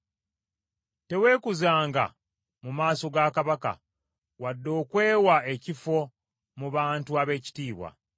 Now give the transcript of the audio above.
Teweekuzanga mu maaso ga kabaka, wadde okwewa ekifo mu bantu ab’ekitiibwa.